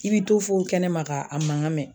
I bi to fo kɛnɛma ka a mangan mɛn